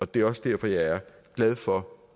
det er også derfor jeg er glad for